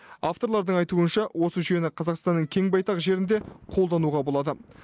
авторлардың айтуынша осы жүйені қазақстанның кең байтақ жерінде қолдануға болады